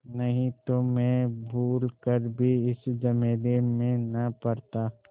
नहीं तो मैं भूल कर भी इस झमेले में न पड़ता